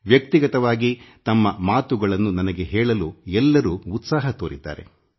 ಎಲ್ಲರೂ ತಮ್ಮ ಮನದಲ್ಲಿರುವ ಮಾತುಗಳನ್ನು ನನ್ನೊಂದಿಗೆ ಹೇಳಲು ಉತ್ಸುಕತೆ ತೋರಿದ್ದಾರೆ